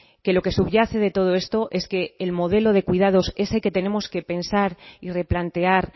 que lo que subyace de todo esto es que el modelo de cuidados es el que tenemos que pensar y replantear